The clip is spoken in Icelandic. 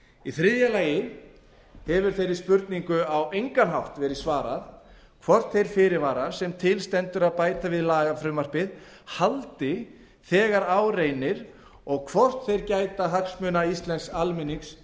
í þriðja lagi hefur þeirri spurningu á engan hátt verið svarað hvort þeir fyrirvarar sem til stendur að bæta við lagafrumvarpið haldi þegar á reynir og hvort þeir gæti hagsmuna íslensks almennings